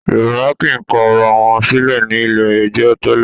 Yorùbá kì í kọ ara wọn sílẹ̀ ní ilé-ẹjọ́ tẹ́lẹ̀